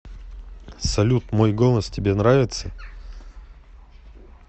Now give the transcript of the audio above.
салют мой голос тебе нравится